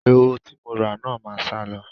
Eroho tí mo rà náà máa sálọ.